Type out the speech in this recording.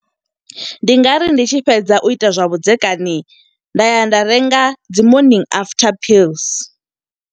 Ndi nga ri ndi tshi fhedza u ita zwa vhudzekani, nda ya nda renga dzi morning after pills.